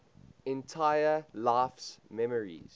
entire life's memories